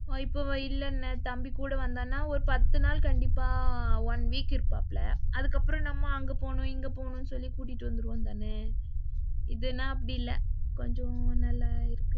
இல்ல இப்போ தம்பி கூட வந்தான்னா ஒரு பத்து நாள் கண்டிப்பா one week இருப்பாபுல. அதுக்கப்புறம் நம்ம இங்க போறோம் அங்க போறோம்னு சொல்லி கூட்டிட்டு வந்துருவோம்தான? இத னா அப்படி இல்ல, கொஞ்சம் நல்லா,